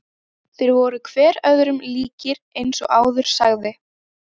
Þeir voru hver öðrum líkir eins og áður sagði.